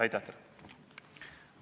Aitäh teile!